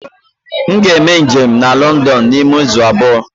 M ga-eme njem na London n'ime izu abụọ.